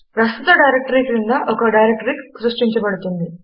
ప్రస్తుత డైరెక్టరీ క్రింద ఒక డైరెక్టరీ సృష్టించబడుతుంది